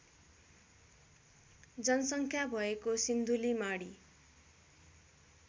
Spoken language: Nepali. जनसङ्ख्या भ्एको सिन्धुलीमाढी